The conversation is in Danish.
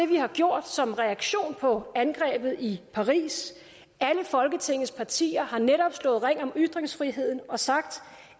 vi har gjort som reaktion på angrebet i paris alle folketingets partier har netop slået ring om ytringsfriheden og sagt